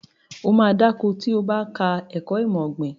Ó ma dá ko tí o bá ka ẹ̀kọ́ ìmọ̀ ọ̀gbìn